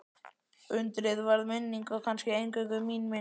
Undrið varð minning og kannski eingöngu mín minning.